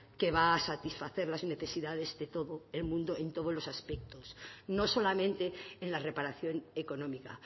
que va a satisfacer las necesidades de todo el mundo en todos los aspectos no solamente en la reparación económica